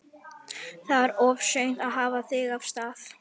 Þá var of seint að hafa sig af stað.